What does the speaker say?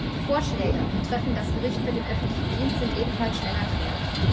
Die Vorschläge betreffend das Gericht für den öffentlichen Dienst sind ebenfalls schnell erklärt.